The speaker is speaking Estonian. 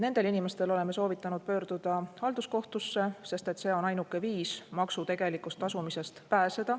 Nendel inimestel oleme soovitanud pöörduda halduskohtusse, sest see on ainuke viis maksu tasumisest pääseda.